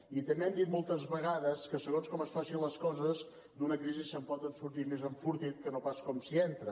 i també hem dit moltes vegades que segons com es facin les coses d’una crisi se’n pot sortir més enfortit que no pas com s’hi entra